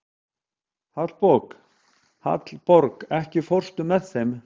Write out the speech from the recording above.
Hallborg, ekki fórstu með þeim?